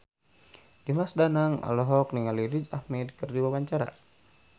Dimas Danang olohok ningali Riz Ahmed keur diwawancara